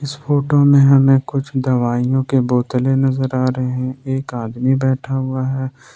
इस फोटो में हमें कुछ दवाइयां के बोतलें नजर आ रहे एक आदमी बैठा हुआ है।